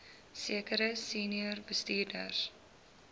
sekere senior bestuurders